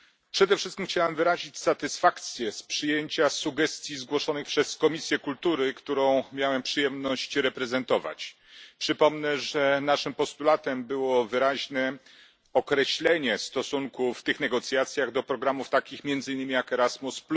Przede wszystkim chciałem wyrazić satysfakcję z przyjęcia sugestii zgłoszonych przez Komisję Kultury, którą miałem przyjemność reprezentować. Przypomnę, że naszym postulatem było wyraźne określenie w tych negocjacjach stosunku do programów takich jak między innymi Erasmus.